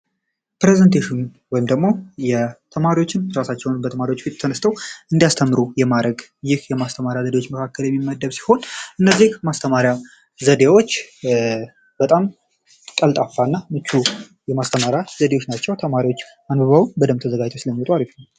ፕረዘንቴሽን ወይም ደግሞ የ ተማሪዎችን እራሳቸውን በተማሪዎች ፊት ተነስቶ እንዲያስተምሩ የማዕረግ የማስተማሪያ ዘዴዎች መካከለ የሚመደብ ሲሆን፤ እነዚህ ማስተማሪያ ዘዴዎች በጣም ቀልጣፋና ምቹ የማስተማሪያ ዘዴዎች ናቸው። ተማሪዎች አንብበው ተዘጋጅተው ስለሚመጡ አሪፍ ነው።